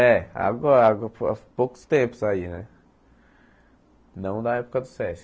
É, agora há po há poucos tempos aí né, não na época do Sesc.